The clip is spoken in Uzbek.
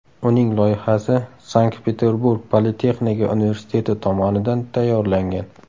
Uning loyihasi Sankt-Peterburg politexnika universiteti tomonidan tayyorlangan.